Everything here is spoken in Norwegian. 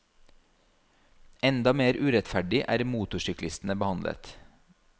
Enda mer urettferdig er motorsyklistene behandlet.